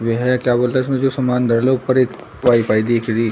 यह क्या बोलते इसमें जो सामान धर लो ऊपर एक वाई_फाई दिख रही।